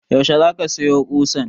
Yaushe za ka sayo ƙusan?